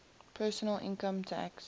personal income tax